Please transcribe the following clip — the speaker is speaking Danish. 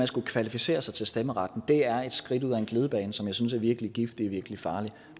skulle kvalificere sig til stemmeret er et skridt ud ad en glidebane som jeg synes er virkelig giftig og virkelig farlig